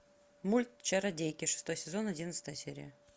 мульт чародейки шестой сезон одиннадцатая серия